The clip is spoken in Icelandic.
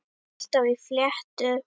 Alltaf í fléttu.